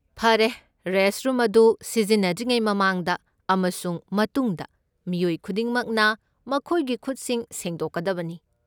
ꯐꯔꯦ! ꯔꯦꯁꯠꯔꯨꯝ ꯑꯗꯨ ꯁꯤꯖꯤꯟꯅꯗ꯭ꯔꯤꯉꯩ ꯃꯃꯥꯡꯗ ꯑꯃꯁꯨꯡ ꯃꯇꯨꯡꯗ, ꯃꯤꯑꯣꯏ ꯈꯨꯗꯤꯡꯃꯛꯅ ꯃꯈꯣꯏꯒꯤ ꯈꯨꯠꯁꯤꯡ ꯁꯦꯡꯗꯣꯛꯒꯗꯕꯅꯤ꯫